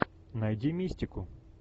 найди мистику